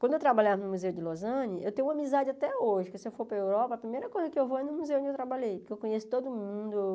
Quando eu trabalhava no Museu de Lozane, eu tenho amizade até hoje, porque se eu for para a Europa, a primeira coisa que eu vou é no museu onde eu trabalhei, porque eu conheço todo mundo.